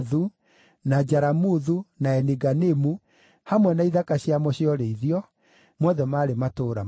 na Jaramuthu, na Eni-Ganimu, hamwe na ithaka ciamo cia ũrĩithio; mothe maarĩ matũũra mana;